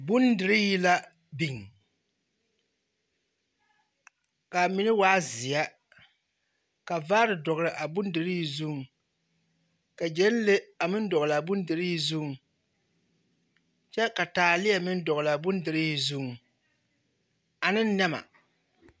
Bondirii la biŋ, ka a mine waa zeɛ, ka vaare dɔgle a bondirii zuŋ, ka gyɛnlee a meŋ dɔgle a bondirii zuŋ kyɛ ka taaleɛ meŋ dɔgle a bondirii zuŋ ane a nɛma. 13401